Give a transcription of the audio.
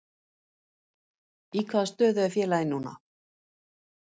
Í hvaða stöðu er félagið núna?